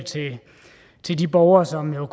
til de borgere som jo